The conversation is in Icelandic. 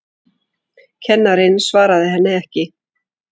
Kennarinn svaraði henni ekki.